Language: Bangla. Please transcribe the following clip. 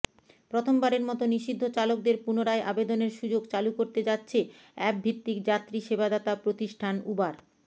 প্রথমবারের মতো নিষিদ্ধ চালকদের পুনরায় আবেদনের সুযোগ চালু করতে যাচ্ছে অ্যাপভিত্তিক যাত্রীসেবাদাতা প্রতিষ্ঠান উবার